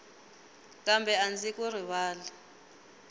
kambe a ndzi ku rivali